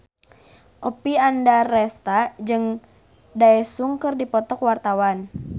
Oppie Andaresta jeung Daesung keur dipoto ku wartawan